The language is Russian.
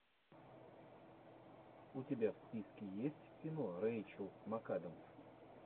у тебя в списке есть кино рэйчел макадамс